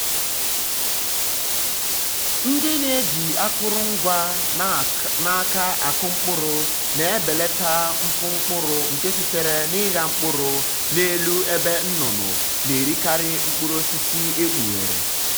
ndị na-eji akụrụngwa um n’aka akụ um mkpụrụ na-ebelata um mfu mkpụrụ nke sitere na ịgha mkpụrụ n'elu ebe nnụnụ na-erikarị mkpụrụ osisi ekpughere.